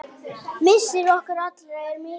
Missir okkar allra er mikill.